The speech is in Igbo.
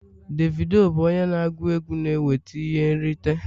Davido bụ onye na-agụ egwu na-enweta ihe nrite